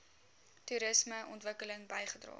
toerisme ontwikkeling bygedra